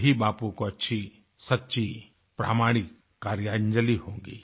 यही बापू को अच्छी सच्ची प्रमाणिक कार्यांजलि होगी